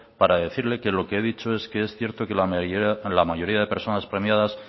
para decirle que lo que he dicho es que es cierto que la mayoría de personas premiadas